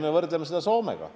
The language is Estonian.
Me võrdleme ennast sageli Soomega.